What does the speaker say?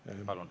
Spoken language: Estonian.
Palun!